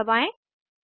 enter दबाएं